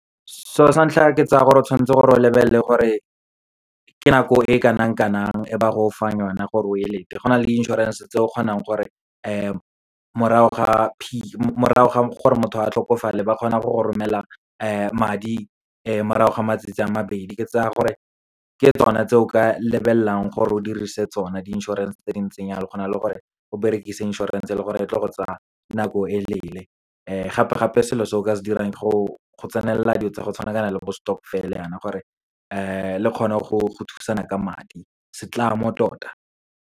Selo sa ntlha, ke tsaya gore o tshwanetse gore o lebelele gore ke nako e kanang-kanang e ba go fang yone gore o e lete. Go na le di inšorense tse o kgonang gore morago ga gore motho a tlhokofale, ba kgona go go romelela madi morago ga matsatsi a mabedi. Ke tsaya gore ke tsona tse o ka lebelelelang gore o dirise tsona di-insurance tse dintseng yalo, go na le gore o berekisa insurance-e e leng gore, e tlo go tsa nako e leele. Gape-gape, selo se o ka se dirang ke go tsenela dilo tsa go tshwanakana le bo stokvel yana, gore le kgone go thusana ka madi, setlamo tota.